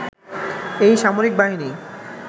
এই সামরিক বাহিনী